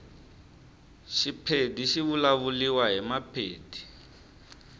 shipedi shivulavuliwa himapedi